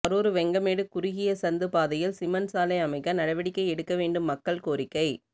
கரூர் வெங்கமேடு குறுகிய சந்து பாதையில் சிமென்ட் சாலை அமைக்க நடவடிக்கை எடுக்க வேண்டும் மக்கள் கோரிக்கை